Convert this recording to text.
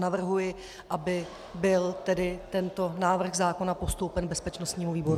Navrhuji, aby byl tedy tento návrh zákona postoupen bezpečnostnímu výboru.